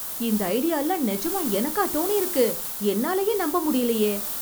இந்த ஐடியால்லாம் நிஜமா எனக்கா தோனியிருக்கு? என்னாலேயே நம்ப முடியலையே!